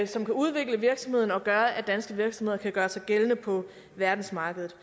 som kan udvikle virksomheden og gøre at danske virksomheder kan gøre sig gældende på verdensmarkedet